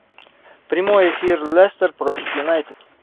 прямой эфир лестер против юнайтед